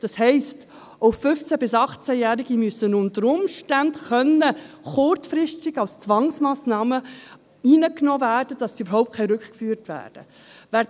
Das heisst, auch 15- bis 18-Jährige müssen unter Umständen kurzfristig inhaftiert werden können, als Zwangsmassnahme, damit sie überhaupt rückgeführt werden können.